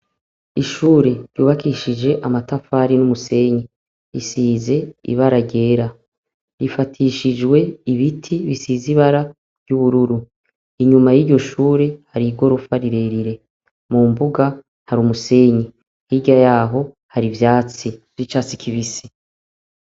Ishure ryubakishijwe amatafari numusenyi risize ibara ryera rifatishijwe ibiti bisize ibara ryubururu inyuma yiryo shure hari igorofa rirerire mumbuga hari umusenyi hirya yaho hari ivyatsi ryicatsi kibisi